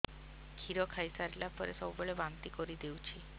କ୍ଷୀର ଖାଇସାରିଲା ପରେ ସବୁବେଳେ ବାନ୍ତି କରିଦେଉଛି